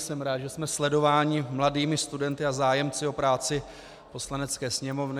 Jsem rád, že jsme sledováni mladými studenti a zájemci o práci Poslanecké sněmovny.